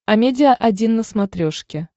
амедиа один на смотрешке